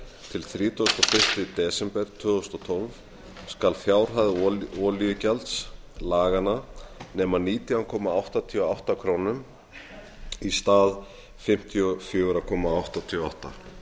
til þrítugasta og fyrsta desember tvö þúsund og tólf skal fjárhæð olíugjalds laganna nema nítján komma áttatíu og átta krónur í stað fimmtíu og fjögur komma áttatíu og átta krónur